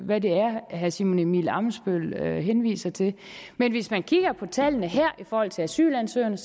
hvad det er herre simon emil ammitzbøll henviser til men hvis man kigger på tallene her i forhold til asylansøgerne